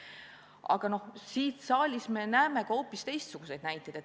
Samas me näeme siin saalis ka hoopis teistsuguseid näiteid.